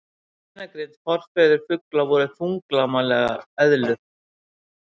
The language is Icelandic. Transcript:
Beinagrind Forfeður fugla voru þunglamalegar eðlur.